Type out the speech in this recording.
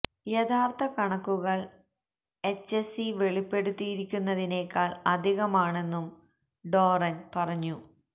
യഥാർഥ കണക്കുകൾ H S E വെളിപ്പെടുത്തിയിരിക്കുന്നതിനേക്കാൾ അധികമാണെന്നും ഡോറൻ പറഞ്ഞു